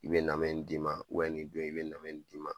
N bɛ na me nin d'i ma ni don in i bɛ na me nin d'i ma